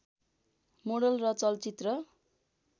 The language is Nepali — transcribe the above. मोडल र चलचित्र